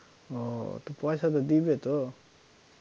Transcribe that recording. ও তো পয়সা তো দিবে তো?